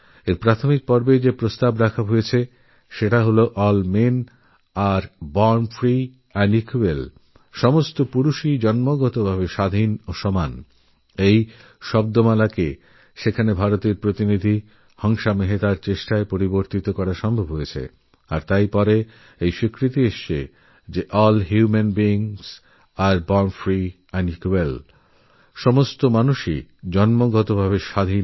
এর প্রারম্ভিক বাক্যাংশেযে প্রস্তাব করা হয়েছে সেটা ছিল all men are born free and equal যাভারতের প্রতিনিধি হংসা মেহতার চেষ্টায় পালটে নেওয়া হয়েছে আর পরে সেটা হল all human beings are born free and equal